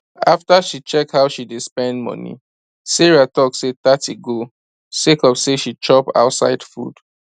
after she check how she dey spend money sarah talk say thirty go sake of say she chop ouside food